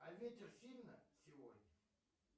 а ветер сильно сегодня